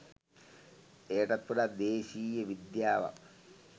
එයටත් වඩා දේශීය විද්‍යාවක්